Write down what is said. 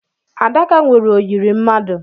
Adaka nwere oyiri mmadụ.